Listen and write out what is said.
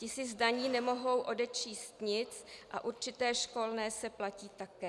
Ti si z daní nemohou odečíst nic a určité školné se platí také.